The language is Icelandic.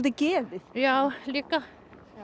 geðið já líka